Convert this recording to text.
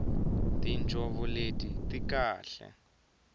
tinjhovo leti ti kahle